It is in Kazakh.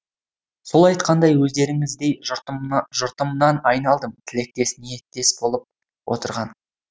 сол айтқандай өздеріңіздей жұртымнан айналдым тілектес ниеттес болып отырған